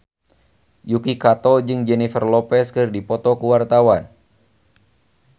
Yuki Kato jeung Jennifer Lopez keur dipoto ku wartawan